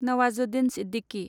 Nawazuddin Siddiqui